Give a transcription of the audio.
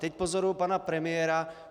Teď pozoruji pana premiéra.